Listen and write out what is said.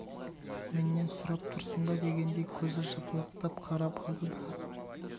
меннен сұрап тұрсың ба дегендей көзі жыпылықтап қарап алды да